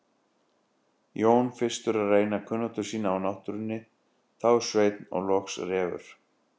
Jón fyrstur að reyna kunnáttu sína á náttúrunni, þá Sveinn og loks Refur.